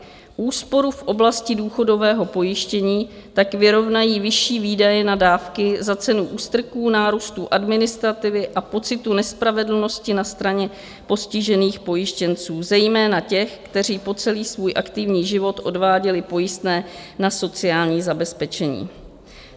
Úsporu v oblasti důchodového pojištění tak vyrovnají vyšší výdaje na dávky za cenu ústrků, nárůstu administrativy a pocitu nespravedlnosti na straně postižených pojištěnců, zejména těch, kteří po celý svůj aktivní život odváděli pojistné na sociální zabezpečení.